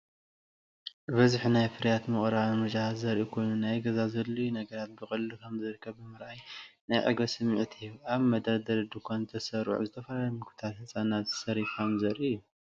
ብብዝሒ ናይ ፍርያት ምቕራብን ምርጫታትን ዘርኢ ኮይኑ፡ ናይ ገዛ ዘድልዩ ነገራት ብቐሊሉ ከምዝርከቡ ብምርኣይ ናይ ዕግበት ስምዒት ይህብ። ኣብ መደርደሪ ድኳን ዝተሰርዑ ዝተፈላለዩ ምግብታት ህጻናት ሴሪፋም ዘርኢ እዩ።